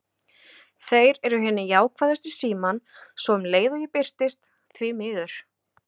Þeir eru hinir jákvæðustu í símann, svo um leið og ég birtist: því miður.